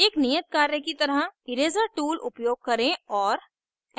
एक नियत कार्य की तरह eraser tool उपयोग करें और